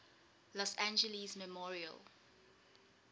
los angeles memorial